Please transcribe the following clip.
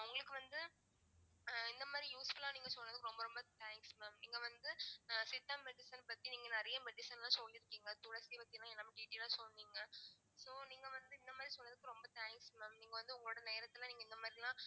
உங்களுக்கு வந்து அஹ் இந்த மாதிரி useful ஆ நீங்க சொன்னதுக்கு ரொம்ப ரொம்ப thanks mam நீங்க வந்து ஆஹ் சித்தா medicine பத்தி நீங்க நிறைய medicine லாம் சொல்லிருக்கீங்க, துளசி பத்திலாம் எல்லாமே detail ஆ சொன்னீங்க so நீங்க வந்து இந்த மாதிரி சொன்னதுக்கு ரொம்ப thanks mam நீங்க வந்து உங்களோட நேரத்துல நீங்க இந்த மாதிரிலாம்